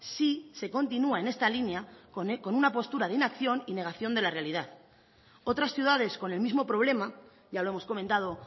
si se continúa en esta línea con una postura de inacción y negación de la realidad otras ciudades con el mismo problema ya lo hemos comentado